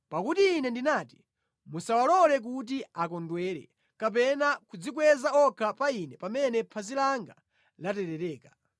Pakuti Ine ndinati, “Musawalole kuti akondwere kapena kudzikweza okha pa ine pamene phazi langa laterereka.”